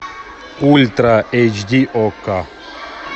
ультра эйч ди окко